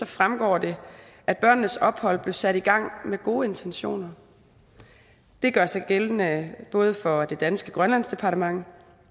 fremgår det at børnenes ophold blev sat i gang med gode intentioner det gør sig gældende både for det danske grønlandsdepartement